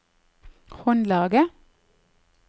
håndlaget